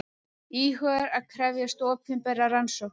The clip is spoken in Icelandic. Íhugar að krefjast opinberrar rannsóknar